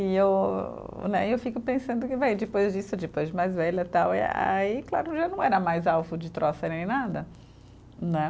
E eu né, e eu fico pensando que vai, depois disso, depois de mais velha e tal, aí, claro, já não era mais alvo de troça nem nada, né?